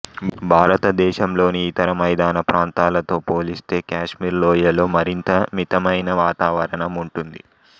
భారతదేశంలోని ఇతర మైదాన ప్రాంతాలతో పోలిస్తే కాశ్మీర్ లోయలో మరింత మితమైన వాతావరణం ఉంటుంది